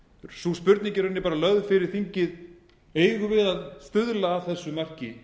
sú spurning er í rauninni lögð fyrir þingið eigum við íslendingar að stuðla að þessu marki